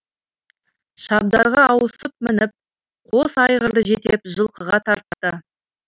шабдарға ауысып мініп қос айғырды жетелеп жылқыға тартты